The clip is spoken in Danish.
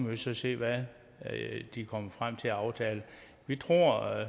vi se hvad de kommer frem til af aftale vi tror og